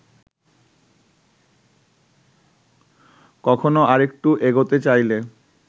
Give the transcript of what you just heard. কখনো আরেকটু এগোতে চাইলে